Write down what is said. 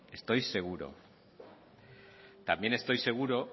estoy seguro también estoy seguro